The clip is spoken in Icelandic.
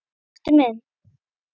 Matti minn.